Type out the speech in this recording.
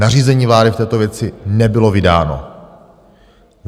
Nařízení vlády v této věci nebylo vydáno.